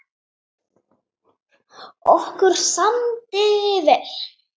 Okkur samdi vel.